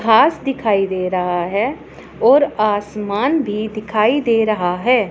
घास दिखाई दे रहा है और आसमान भी दिखाई दे रहा है।